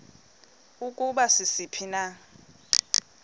ukuba sisiphi na